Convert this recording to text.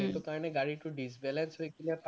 সেইটো কাৰণে গাড়ীটো disbalance হৈ পেলাই